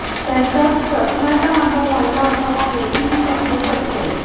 त्यांच्या चष्म्याचा नंबर वाढला असावा हेही मी समजू शकतो